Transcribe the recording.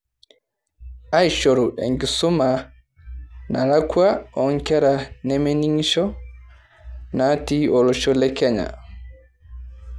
Aishoru enkisuma nalakua oonkera nemening'isho naati olosho le Kenya.